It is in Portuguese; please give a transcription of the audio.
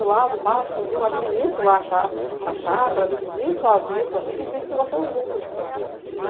Eu lavo, passo, cozinho, administro lá a chá chácara, administro a avícola e divido com você os lucros.